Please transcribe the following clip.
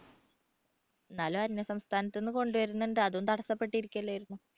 എന്നാലും അന്യസംസ്ഥാനത്തുനിന്ന് കൊണ്ടുവരുന്നുണ്ട് അതും തടസ്സപ്പെട്ടിരിക്കുക അല്ലായിരുന്നോ?